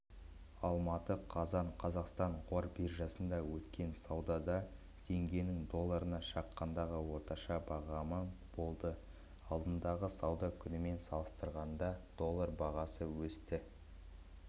алматы қазан қазақстан қор биржасында өткен саудада теңгенің долларына шаққандағы орташа бағамы болды алдыңғы сауда күнімен салыстырғанда доллар бағасы өсті